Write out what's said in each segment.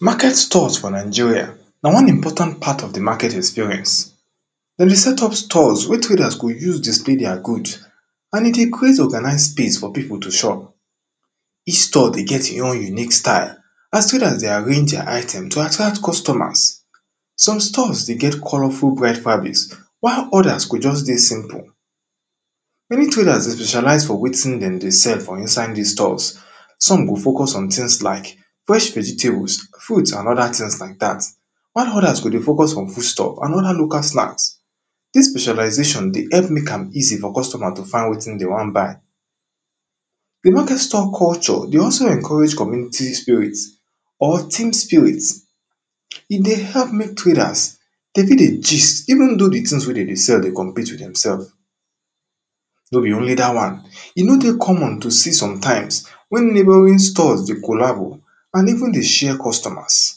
Market store for Nigeria, na one important part of di market experience Dem be set up stores wey traders go use display their goods and e dey create organized space for people to shop Each store dey get e own unique style as traders dey arrange their items to attract customers some stores dey get colourful bright fabrics while others go just dey simple Many traders dey specialize for wetin dem dey sell for inside dis store. Some go focus on things like fresh vegetables, fruits and other things like dat, while others go dey focus on foodstuff and other local snacks Dis specialization dey help make am easy for customer to find wetin dem wan buy Di market store culture dey also encourage community spirit or team spirit E help make traders dem fit dey gist even though di things wey dem dey sell dey compete with themselves No be only dat one, e no dey common to see some times wen neighbouring store dey colabo and even dey share customers.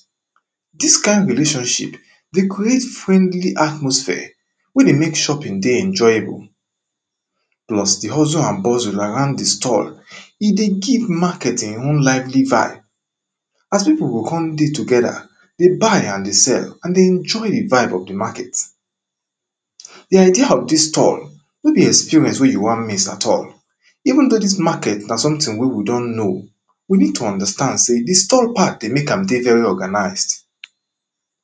Dis kind relationship dey cxreate friendly atmosphere wey dey make shopping dey enjoyable pause plus di hustling and bustling around di store E dey give market e own lively vibe as people go come dey together dey buy and dey sell and dey enjoy di vibe of di market Di idea of dis store no be experience wey you wan miss at all even though dis market na something wey we don know We need to understand sey store part dey make am dey very organize